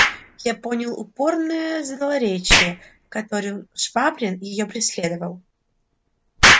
я понял упорное злоречие которым швабрин её преследовал